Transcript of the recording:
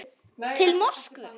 Til Moskvu